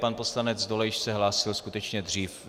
Pan poslanec Dolejš se hlásil skutečně dřív.